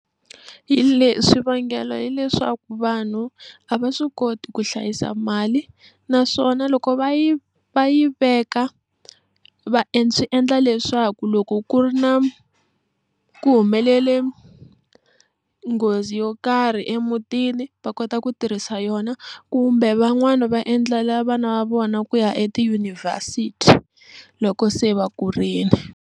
Hi leswi xivangelo hileswaku vanhu a va swi koti ku hlayisa mali naswona loko va yi va yi veka va swi endla leswaku loko ku ri na ku humelele nghozi yo karhi emutini va kota ku tirhisa yona kumbe van'wana va endlela vana va vona ku ya etiyunivhesiti loko se va kurile.